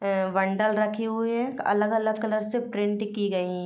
ये बंडल रखे हुए हैं अलग-अलग कलर से प्रिंट की गई --